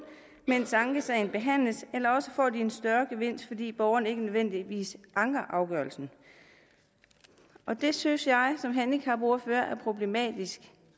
mens ankesagen behandles eller også får de en større gevinst fordi borgeren ikke nødvendigvis anker afgørelsen det synes jeg som handicapordfører er problematisk